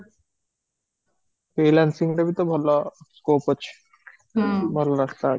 freelancing ଟା ଭି ତ ଭଲ scope ଅଛି ଭଲ ରାସ୍ତା ଅଛି